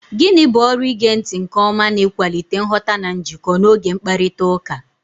Gịnị bụ ọrụ ige ntị nke ọma n'ịkwalite nghọta na njikọ n'oge mkparịta ụka?